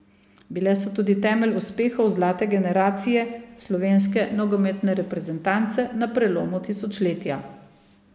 Bile so tudi temelj uspehov zlate generacije slovenske nogometne reprezentance na prelomu tisočletja.